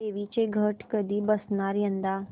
देवींचे घट कधी बसणार यंदा